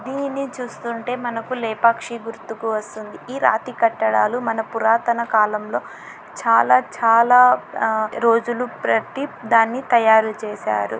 దీని చూస్తుంటే మనకు లేపాక్షి గుర్తుకు వస్తుంది ఈ రాతి కట్టడాలు మన పురాతన కాలంలో చాలా చాలా ఆ రోజులు ప్రతి దాన్ని తయారు చేశారు.